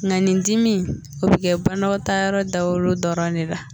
Mɛ ni dimi, o bɛ banɔgɔtaayɔrɔ dagolo dɔrɔn ne la